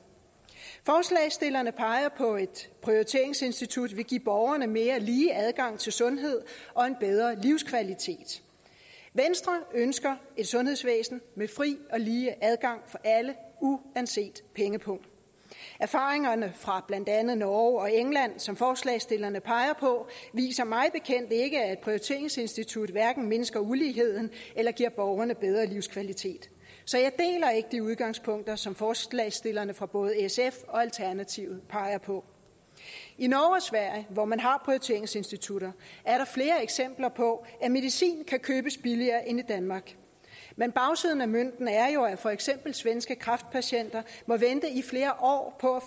forslagsstillerne peger på at et prioriteringsinstitut vil give borgerne mere lige adgang til sundhed og en bedre livskvalitet venstre ønsker et sundhedsvæsen med fri og lige adgang for alle uanset pengepung erfaringerne fra blandt andet norge og england som forslagsstillerne peger på viser mig bekendt at et prioriteringsinstitut hverken mindsker uligheden eller giver borgerne bedre livskvalitet så jeg deler ikke de udgangspunkter som forslagsstillerne fra både sf og alternativet peger på i norge og sverige hvor man har prioriteringsinstitutter er der flere eksempler på at medicin kan købes billigere end i danmark men bagsiden af mønten er jo at for eksempel svenske kræftpatienter må vente i flere år på